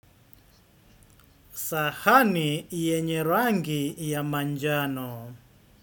Sahani yenye rangi ya manjano.